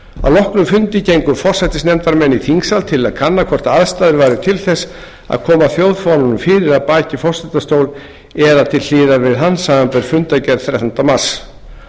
að loknum fundi gengu forsætisnefndarmenn í þingsal til að kanna hvort aðstæður væru til þess að koma þjóðfánanum fyrir að baki forsetastól eða til hliðar við hann samanber fundargerð þrettánda mars